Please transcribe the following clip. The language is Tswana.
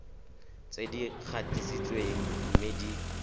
tse di gatisitsweng mme di